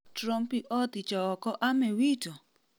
Trompi oothicho oko Ame WTO?